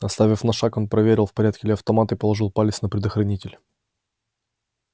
отставив на шаг он проверил в порядке ли автомат и положил палец на предохранитель